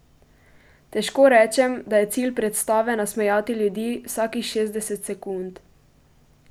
Težko rečem, da je cilj predstave nasmejati ljudi vsakih šestdeset sekund.